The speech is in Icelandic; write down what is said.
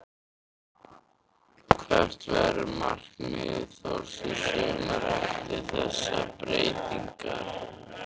Hvert verður markmið Þórs í sumar eftir þessar breytingar?